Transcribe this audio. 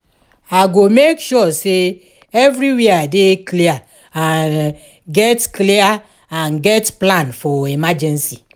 i go make sure say everywhere dey clear and get clear and get plan for emergency.